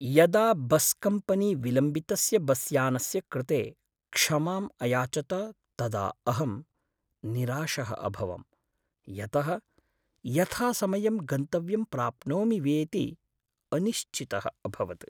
यदा बस्कम्पनी विलम्बितस्य बस्यानस्य कृते क्षमाम् अयाचत तदा अहं निराशः अभवं, यतः यथासमयम् गन्तव्यं प्राप्नोमि वेति अनिश्चितः अभवत्।